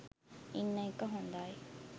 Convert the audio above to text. ඉන්න එක හොඳයි.